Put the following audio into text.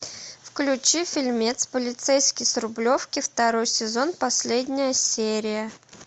включи фильмец полицейский с рублевки второй сезон последняя серия